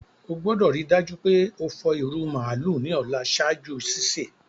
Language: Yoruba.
O gbọ́dọ̀ rii dájú pe o fọ ìrù màálù ni ọ̀la ṣaaju sísẹ̀.